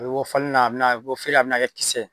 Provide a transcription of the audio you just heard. U bɛ bɔ falan na a bɛna bɔ feere la a bɛna kɛ kisɛ ye